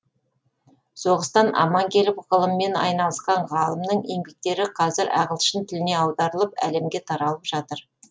соғыстан аман келіп ғылыммен айналысқан ғалымның еңбектері қазір ағылшын тіліне аударылып әлемге таралып жатыр